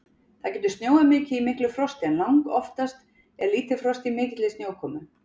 Það getur snjóað mikið í miklu frosti en langoftast er lítið frost í mikilli snjókomu.